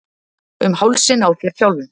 Um hálsinn á þér sjálfum!